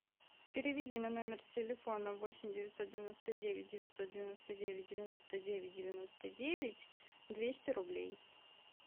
переведи на номер телефона восемь девятьсот девяносто девять девятьсот девяносто девять девяносто девять девяносто девять двести рублей